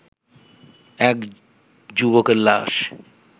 এক যুবকের লাশ